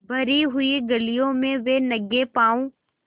भरी हुई गलियों में वे नंगे पॉँव स्